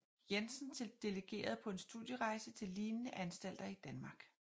Jensen til delegeret på en studierejse til lignende anstalter i Danmark